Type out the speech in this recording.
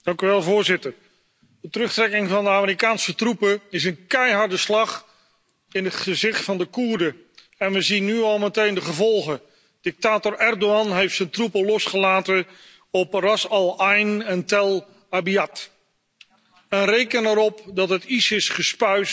Voorzitter, de terugtrekking van de Amerikaanse troepen is een keiharde slag in het gezicht van de Koerden en we zien meteen de gevolgen. Dictator Erdogan heeft zijn troepen losgelaten op Ras al Ain en Tell Abyad. Reken erop dat het ISIS gespuis